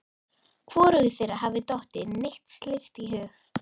Hvorugu þeirra hafði dottið neitt slíkt í hug.